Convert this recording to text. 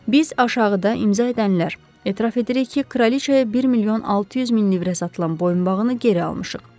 Biz aşağıda imza edənlər etiraf edirik ki, kraliçaya 1 milyon 600 min livrə satılan boyunbağını geri almışıq.